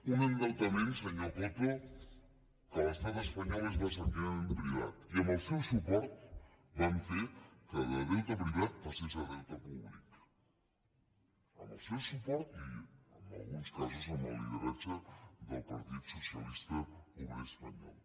un endeutament senyor coto que a l’estat espanyol és bàsicament privat i amb el seu suport van fer que de deute privat passés a deute públic amb el seu suport i en alguns casos amb el lideratge del partit socialista obrer espanyol